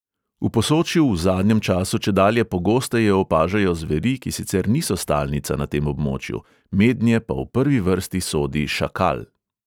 V posočju v zadnjem času čedalje pogosteje opažajo zveri, ki sicer niso stalnica na tem območju, mednje pa v prvi vrsti sodi šakal.